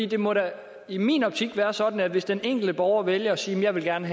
det må da i min optik være sådan at hvis den enkelte borger vælger at sige at jeg gerne